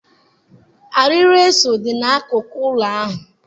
Arịrị eso dị n'akụkụ ụlọ ahụ.